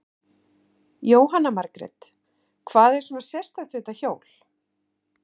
Jóhanna Margrét: Hvað er svona sérstakt við þetta hjól?